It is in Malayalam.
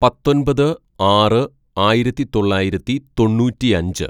"പത്തൊമ്പത് ആറ് ആയിരത്തിതൊള്ളായിരത്തി തൊണ്ണൂറ്റിയഞ്ച്‌